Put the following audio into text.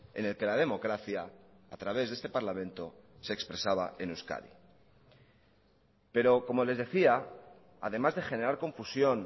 en el que la democracia a través de este parlamento se expresaba en euskadi pero como les decía además de generar confusión